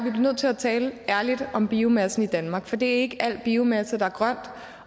nødt til at tale ærligt om biomassen i danmark for det er ikke al biomasse der er grøn